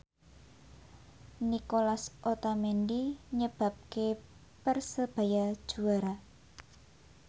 Nicolas Otamendi nyebabke Persebaya juara